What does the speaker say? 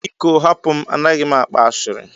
Biko hapụ m, A naghị m akpa ashịrị.